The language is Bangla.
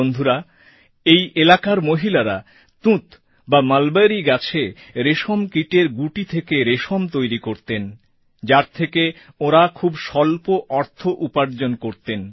বন্ধুরা এই এলাকার মহিলারা তুঁত বা মলবরী গাছে রেশমকীটের গুটি থেকে রেশম তৈরি করতেন যার থেকে ওঁরা খুব স্বল্প অর্থ উপার্জন করতেন